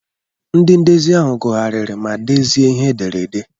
Ndị ndezi ahụ gụgharịri ma dezie ihe ederede.